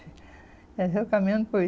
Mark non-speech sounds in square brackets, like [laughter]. Já já eu caminhando [unintelligible]